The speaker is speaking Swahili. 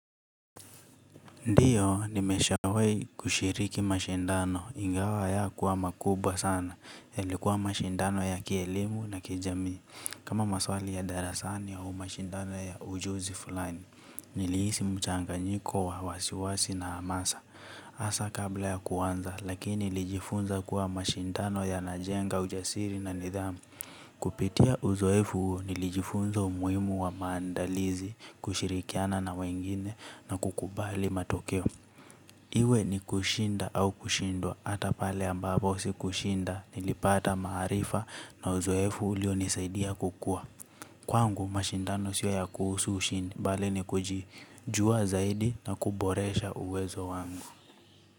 Ndiyo nimeshawahi kushiriki mashindano ingawa hayakuwa makubwa sana iikuwa mashindano ya kielimu na kijamii. Kama maswali ya darasani au mashindano ya ujuzi fulani. Nilihisi mchanganyiko wa wasiwasi na amasa. Hasa kabla ya kuanza lakini nilijifunza kuwa mashindano yanajenga ujasiri na nidhamu. Kupitia uzoefu huu nilijifunza umuhimu wa maandalizi kushirikiana na wengine na kukubali matokeo. Iwe ni kushinda au kushindwa ata pale ambapo sikushinda nilipata maharifa na uzoefu ulio nisaidia kukua. Kwangu mashindano sio ya kuhusu ushindi, mbali ni kujua zaidi na kuboresha uwezo wangu.